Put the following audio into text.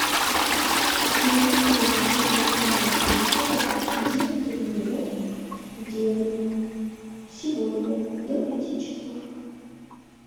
переведи на счет мобильного телефона деньги моему деду сегодня до пяти часов